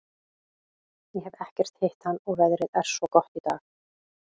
Ég hef ekkert hitt hann og veðrið er svo gott í dag.